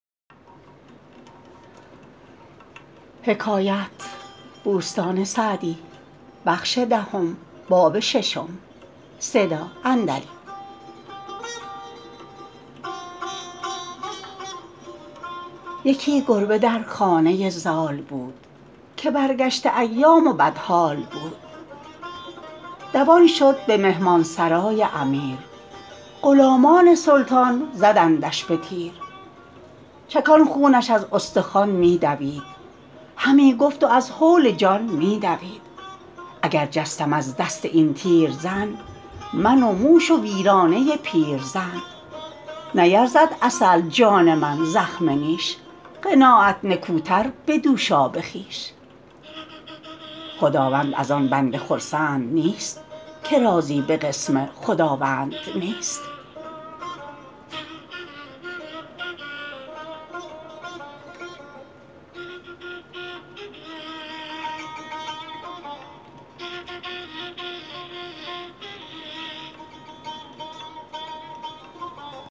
یکی گربه در خانه زال بود که برگشته ایام و بدحال بود دوان شد به مهمان سرای امیر غلامان سلطان زدندش به تیر چکان خونش از استخوان می دوید همی گفت و از هول جان می دوید اگر جستم از دست این تیرزن من و موش و ویرانه پیرزن نیرزد عسل جان من زخم نیش قناعت نکوتر به دوشاب خویش خداوند از آن بنده خرسند نیست که راضی به قسم خداوند نیست